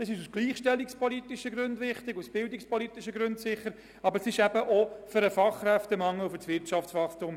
Diese ist aus gleichstellungs- und bildungspolitischen Gründen wichtig sowie notwendig wegen des Fachkräftemangels und des Wirtschaftswachstums.